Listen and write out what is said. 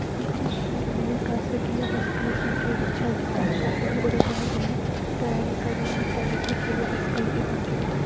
ಇತಿಚಿನ ದಿನಗಲ್ಲಲಿ ಖಾಸಗಿ ಬಸ್ಗ ಗಳ ಸಂಖ್ಯೆ ಹೆಚ್ಚಾಗಿದ್ದು ಖಾಸಗಿಯ ಒಡೆತನದಲ್ಲಿ ಪ್ರಯಾಣಿಕರನು ಸಾಗಿಸುತ್ತಿರುವ ಬಸ್ಗ ಳು ಇವಾಗಿವೆ .